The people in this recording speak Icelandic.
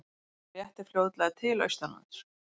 Þó léttir fljótlega til austanlands